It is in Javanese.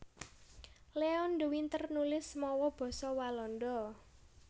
Leon de Winter nulis mawa basa Walanda